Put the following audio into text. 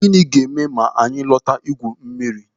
Gịnị ga-eme ma anyị lọta igwu mmiri?